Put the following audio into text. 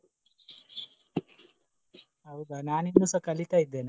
ಹೌದಾ? ನಾನು ಇನ್ನುಸಾ ಕಲಿತ ಇದೇನೆ.